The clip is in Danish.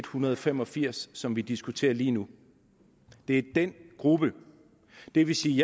hundrede og fem og firs som vi diskuterer lige nu det er den gruppe det vil sige